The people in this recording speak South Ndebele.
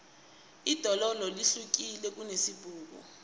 idondolo lihlukile kunesibhuku